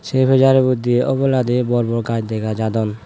say pijaribow di oboladi bor bor gash degajadon.